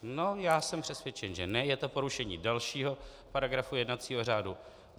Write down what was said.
No, já jsem přesvědčen, že ne, je to porušení dalšího paragrafu jednacího řádu.